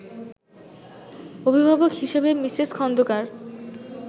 অভিভাবক হিসেবে মিসেস খন্দকার